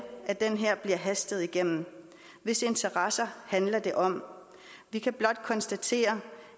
at det her bliver hastet igennem hvis interesser handler det om vi kan blot konstatere